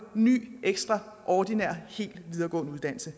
ny ordinær hel videregående uddannelse